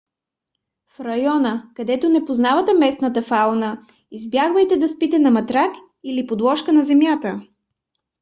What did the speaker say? в райони където не познавате местната фауна избягвайте да спите на матрак или подложка на земята